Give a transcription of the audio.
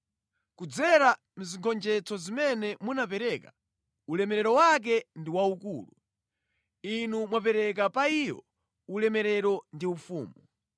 Kudzera mʼzigonjetso zimene munapereka, ulemerero wake ndi waukulu; Inu mwapereka pa iyo ulemerero ndi ufumu.